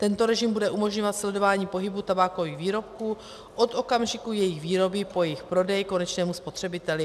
Tento režim bude umožňovat sledování pohybu tabákových výrobků od okamžiku jejich výroby po jejich prodej konečnému spotřebiteli.